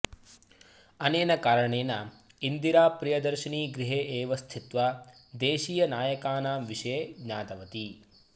अनेन कारणेन इन्दिराप्रियदर्शिनी गृहे एव स्थित्वा देशीयनायकानां विषये ज्ञातवती